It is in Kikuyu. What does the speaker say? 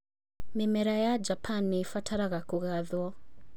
Mĩmera ya Japan nĩ ĩbataraga kũgathwo